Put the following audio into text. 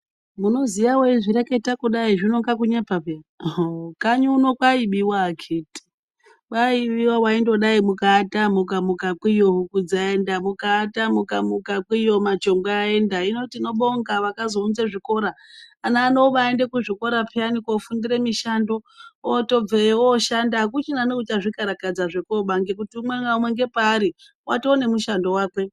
Munoziya eizvireketa kudai zvinoita kunge kunyepa, hee kanyi uno kwaibiwa akiti, kuata kudai ukamuka kwiyo huku dzaenda kwiyo machonjwe aenda. tinobonga kune akazounza zvikora zvinoita kuti asazvikararadza zvekunoba nekuti umwe naumw paari atova nemushando wakwe.